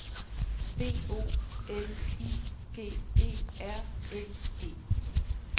B O L I G E R N E